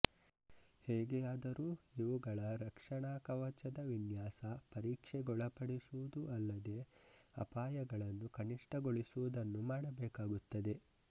ಹೇಗೆಯಾದರೂ ಇವುಗಳ ರಕ್ಷಣಾ ಕವಚದ ವಿನ್ಯಾಸಪರೀಕ್ಷೆಗೊಳಪಡಿಸುವುದುಅಲ್ಲದೇ ಅಪಾಯಗಳನ್ನು ಕನಿಷ್ಟಗೊಳಿಸುವುದನ್ನು ಮಾಡಬೇಕಾಗುತ್ತದೆ